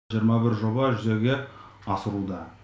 жиырма бір жоба жүзеге асырылуда